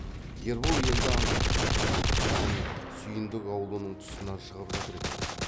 ербол енді аңғарды ән сүйіндік аулының тұсынан шығып жатыр екен